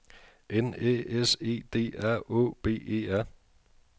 N Æ S E D R Å B E R